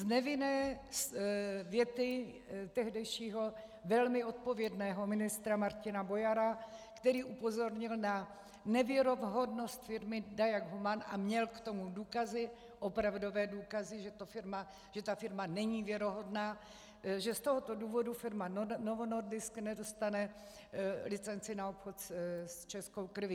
Z nevinné věty tehdejšího velmi odpovědného ministra Martina Bojara, který upozornil na nevěrohodnost firmy Diag Human a měl k tomu důkazy, opravdové důkazy, že ta firma není věrohodná, že z tohoto důvodu firma Novo Nordisk nedostane licenci na obchod s českou krví.